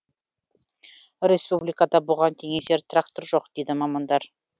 республикада бұған теңесер трактор жоқ дейді мамандар